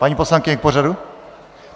Paní poslankyně, k pořadu?